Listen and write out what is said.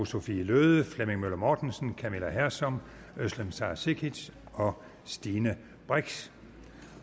sophie løhde flemming møller mortensen camilla hersom özlem sara cekic og stine brix